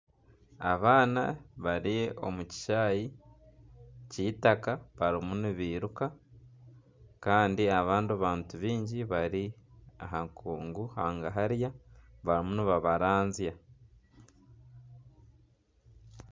Abaana bari omu kishaayi k'eitaka barimu nibiruka. Kandi abandi bantu baingi bari aha nkungu hangahariya barimu nibabaranzya.